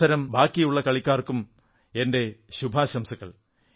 മത്സരം ബാക്കിയുള്ള കളിക്കാർക്കും എന്റെ അനേകം ശുഭാശംസകൾ